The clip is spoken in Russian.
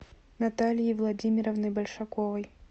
натальей владимировной большаковой